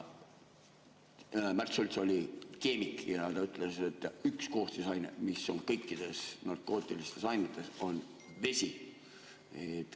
Märt Sults oli keemik ja ta ütles, et üks koostisaine, mis on kõikides narkootilistes ainetes, on vesi.